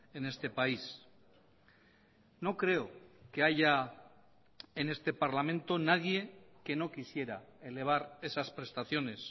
en este país no creo que haya en este parlamento nadie que no quisiera elevar esas prestaciones